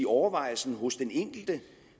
overvejelsen hos den enkelte